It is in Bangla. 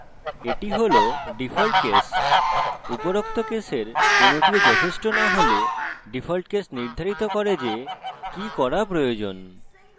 এটি ডিফল্ট case উপরোক্ত কেসের কোনটিও যথেষ্ট না হলে ডিফল্ট case নির্ধারিত করে যে কি করা প্রয়োজন